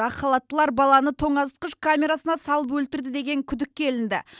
ақ халаттылар баланы тоңазытқыш камерасына салып өлтірді деген күдікке ілінді